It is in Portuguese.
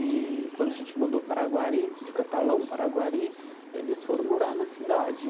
E quando a gente mudou para Aguari, de Catalão para Aguari, eles foram morar na cidade.